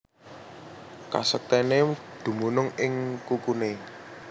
Kasektèné dumunung ing kukuné